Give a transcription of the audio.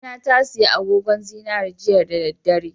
Mamana tasiya agogon zinari jiya da dare